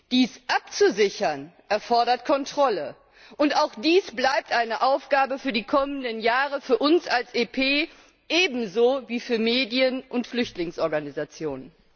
Dies abzusichern erfordert Kontrolle, und auch dies bleibt eine Aufgabe für die kommenden Jahre für uns als EP, ebenso wie für Medien und Flüchtlingsorganisationen.